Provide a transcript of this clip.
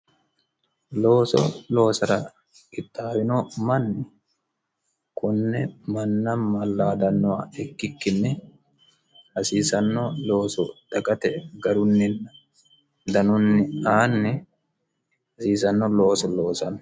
looso loosara qixxaawino manni konne manna mallaadannoha ikkikkinne hasiisanno looso dagate garunninn danunni aanni hasiisanno looso loosanno